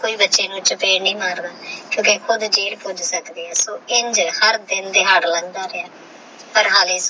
ਐਥੇ ਕੀ ਬਚੇ ਨੂ ਚਪੇੜ ਨਹੀ ਮਾਰਦਾ ਕੁਕੀ ਖੁਦ ਪੂਕ ਸਕਦਾ ਹ੍ਹ ਇੰਜ ਹਰ ਦਿਨ ਦਿਹਾਰ ਲੰਘਦਾ ਰਿਹਾ ਪਰ ਹਾਲੇ